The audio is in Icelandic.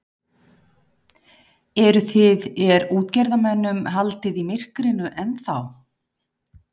Eruð þið, er útgerðarmönnum haldið í myrkrinu ennþá?